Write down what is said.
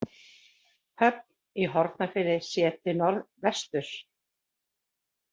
Höfn í Hornafirði séð til norðvesturs.